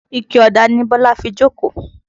Ike ọ̀dà ni Bọ́lá fi jókòó